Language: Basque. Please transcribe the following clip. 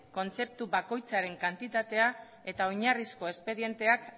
kontzeptu bakoitzaren kantitatea eta oinarrizko espedienteak